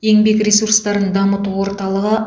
еңбек ресурстарын дамыту орталығы